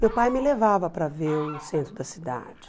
Meu pai me levava para ver o centro da cidade.